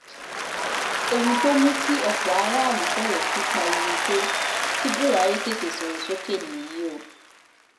ohun tó mú kí ọ̀pọ̀ àwọn aráàlú bẹ̀rẹ̀ sí í pariwo pé kí buhari tètè sọ̀rọ̀ sókè nìyí o